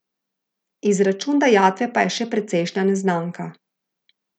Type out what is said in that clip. Izračun dajatve pa je še precejšnja neznanka.